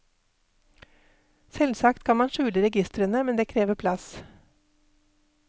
Selvsagt kan man skjule registerene, men det krever plass.